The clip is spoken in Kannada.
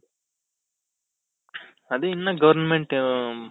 ಅದೇ ಇನ್ನ government